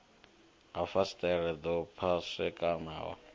ha fasiṱere ḓo pwashekanaho ḽa